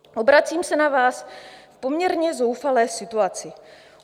Obracím se na vás v poměrně zoufalé situaci.